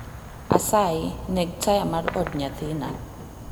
Asayi neg taya mar od nyathina